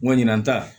Ŋɔn ɲinɛn ta